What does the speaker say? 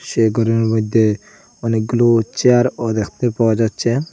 সেই গরের মইদ্যে অনেকগুলো চেয়ারও দেখতে পাওয়া যাচ্ছে।